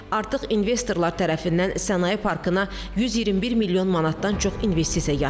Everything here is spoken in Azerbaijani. Artıq investorlar tərəfindən sənaye parkına 121 milyon manatdan çox investisiya yatırılıb.